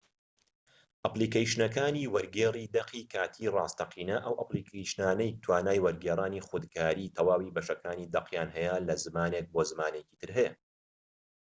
ئەپلیکەیشنەکانی وەرگێڕی دەقی کاتی ڕاستەقینە ئەو ئەپلیکەیشنانەی کە توانای وەرگێڕانی خودکاری تەواوی بەشەکانی دەقیان لە زمانێک بۆ زمانی تر هەیە